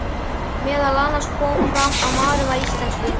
Meðal annars kom fram að maðurinn væri íslenskur.